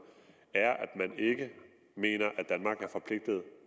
er at man ikke mener